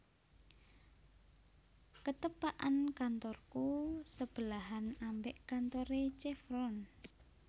Ketepakan kantorku sebelahan ambek kantore Chevron